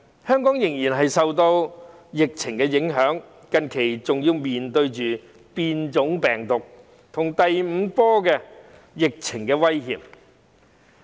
香港仍然受到疫情影響，近期更要面對變種病毒和第五波疫情的威脅。